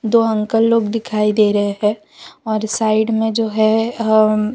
तो अंकल लोग दिखाई दे रहे है और साइड में जो है अ --